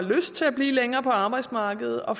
har lyst til at blive længere på arbejdsmarkedet og